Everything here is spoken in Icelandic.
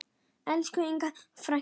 Elsku Inga frænka.